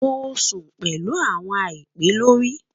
Mo sun pẹlu awọn àìpẹ lori